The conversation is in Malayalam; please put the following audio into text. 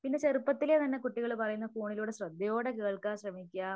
പിന്നെ ചെറുപ്പത്തിലെ തന്നെ കുട്ടികള് പറയുന്ന ഫോണിലൂടെ ശ്രദ്ധയോടെ കേൾക്കാൻ ശ്രമിക്കുക